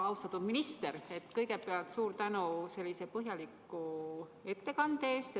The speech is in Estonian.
Austatud minister, kõigepealt suur tänu põhjaliku ettekande eest!